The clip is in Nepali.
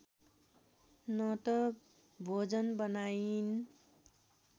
न त भोजन बनाइन्